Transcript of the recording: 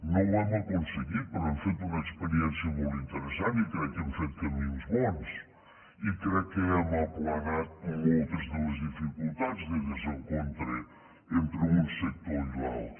no ho hem aconseguit però hem fet una experiència molt interessant i crec que hem fet camins bons i crec que hem aplanat moltes de les dificultats de desencontre entre un sector i l’altre